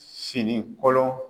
Fini kolon